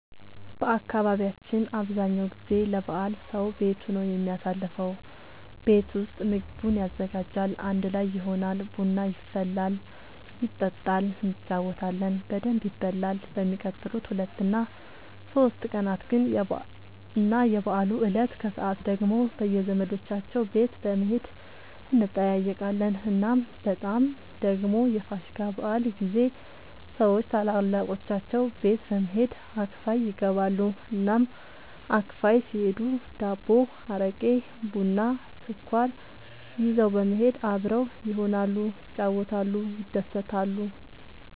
በአካባቢያችን አብዛኛው ጊዜ ለበዓል ሰዉ ቤቱ ነው የሚያሳልፈው። ቤት ውስጥ ምግቡን ያዘጋጃል፣ አንድ ላይ ይሆናል፣ ቡና ይፈላል ይጠጣል እንጫወታለን በደንብ ይበላል በሚቀጥሉት ሁለት እና ሶስት ቀናት ግን እና የበዓሉ እለት ከሰዓት ደግሞ በየዘመዶቻቸው ቤት በመሄድ እንጠያየቃለን። እናም በጣም ደግሞ የፋሲካ በዓል ጊዜ ሰዎች ታላላቆቻቸው ቤት በመሄድ አክፋይ ይገባሉ። እናም አክፋይ ሲሄዱ ዳቦ፣ አረቄ፣ ቡና፣ ስኳር ይዘው በመሄድ አብረው ይሆናሉ፣ ይጫወታሉ፣ ይደሰታሉ።